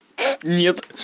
нет